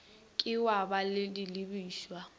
ke wa ba le dilebišwa